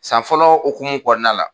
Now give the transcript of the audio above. San fɔlɔ hokumu kɔnɔna la.